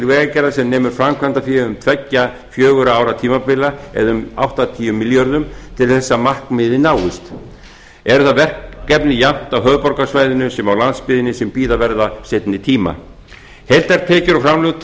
vegagerðar sem nemur framkvæmdafé tveggja fjögurra ára tímabila eða um áttatíu milljörðum til þess að markmiðið náist eru það verkefni jafnt á höfuðborgarsvæðinu sem á landsbyggðinni sem bíða verða seinni tíma heildartekjur og framlög til